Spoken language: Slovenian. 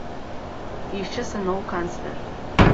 Išče se nov kancler.